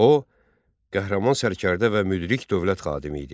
O qəhrəman sərkərdə və müdrik dövlət xadimi idi.